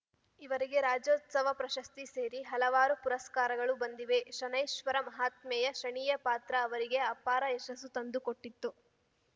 ಇವರಿಗೆ ರಾಜ್ಯೋತ್ಸವ ಪ್ರಶಸ್ತಿ ಸೇರಿ ಹಲವಾರು ಪುರಸ್ಕಾರಗಳು ಬಂದಿವೆ ಶನೈಶ್ಚರ ಮಹಾತ್ಮೆಯ ಶನಿಯ ಪಾತ್ರ ಅವರಿಗೆ ಅಪಾರ ಯಶಸ್ಸು ತಂದು ಕೊಟ್ಟಿತ್ತು